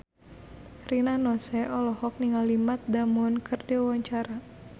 Rina Nose olohok ningali Matt Damon keur diwawancara